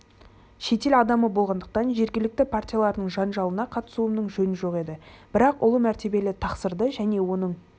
шетел адамы болғандықтан жергілікті партиялардың жанжалына қатысуымның жөні жоқ еді бірақ ұлы мәртебелі тақсырды және оның